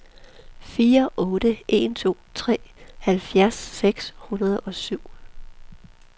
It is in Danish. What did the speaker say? fire otte en to halvfjerds seks hundrede og syv